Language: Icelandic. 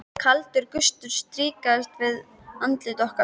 Kaldur gustur strýkst við andlit okkar.